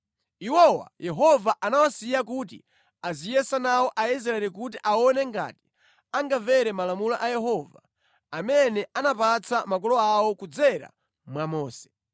Iwowa Yehova anawasiya kuti aziyesa nawo Aisraeli kuti aone ngati angamvere malamulo a Yehova, amene anapatsa makolo awo kudzera mwa Mose.